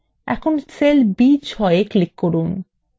এখন cell b6এ click করুন